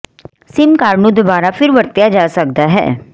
sim card ਨੂੰ ਦੁਬਾਰਾ ਫਿਰ ਵਰਤਿਆ ਜਾ ਸਕਦਾ ਹੈ